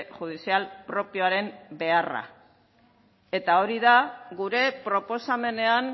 judizial propioaren beharra eta hori da gure proposamenean